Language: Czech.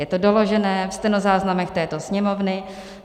Je to doložené ve stenozáznamech této Sněmovny.